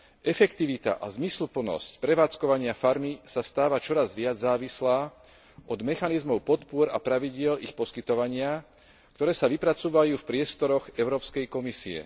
Efektivita a zmysluplnosť prevádzkovania farmy sa stáva čoraz viac závislá od mechanizmov podpôr a pravidiel ich poskytovania, ktoré sa vypracúvajú v priestoroch Európskej komisie.